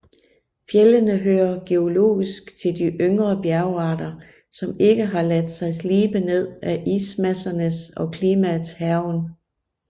Fjellene hører geologisk til de yngre bjergarter som ikke har latt seg slibe ned af ismassernes og klimaets hærgen